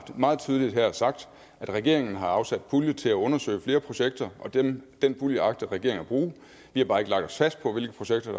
meget tydeligt her sagt at regeringen har afsat pulje til at undersøge flere projekter og den den pulje agter regeringen at bruge vi har bare ikke lagt os fast på hvilke projekter